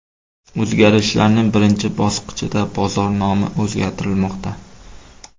O‘zgarishlarning birinchi bosqichida bozor nomi o‘zgartirilmoqda.